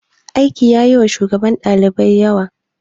Aiki yayi wa shugaban ɗalibai yawa.